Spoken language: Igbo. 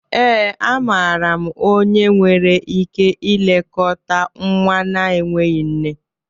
ee, amaara m onye nwere ike ilekọta nwa na-enweghị nne